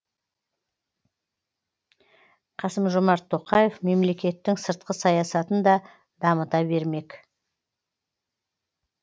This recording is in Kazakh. қасым жомарт тоқаев мемлекеттің сыртқы саясатын да дамыта бермек